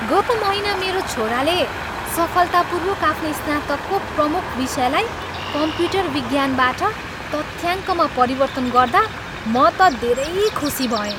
गत महिना मेरो छोराले सफलतापूर्वक आफ्नो स्नातकको प्रमुख विषयलाई कम्प्युटर विज्ञानबाट तथ्याङ्कमा परिवर्तन गर्दा म त धेरै खुसी भएँ।